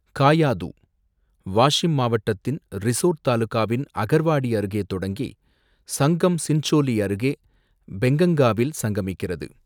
காயாது, வாஷிம் மாவட்டத்தின் ரிசோட் தாலுகாவின் அகர்வாடி அருகே தொடங்கி, சங்கம் சின்சோலி அருகே பெங்கங்காவில் சங்கமிக்கிறது